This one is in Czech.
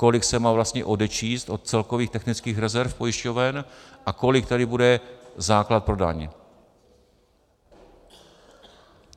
Kolik se má vlastně odečíst od celkových technických rezerv pojišťoven a kolik tady bude základ pro daň.